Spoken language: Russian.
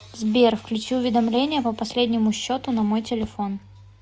сбер включи уведомления по последнему счету на мой телефон